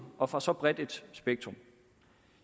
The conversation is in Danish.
og fra så bredt et spektrum